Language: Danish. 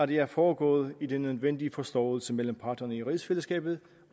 det er foregået i den nødvendige forståelse mellem parterne i rigsfællesskabet